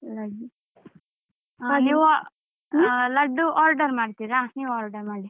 ಲಡ್ಡು ಹ ನೀವು ಲಡ್ಡು order ಮಾಡ್ತೀರಾ? ನೀವು order ಮಾಡಿ.